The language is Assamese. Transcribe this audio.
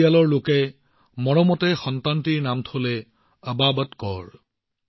ঘৰৰ মানুহে মৰমেৰে তাইৰ নাম আবাবত কৌৰ ৰাখিছিল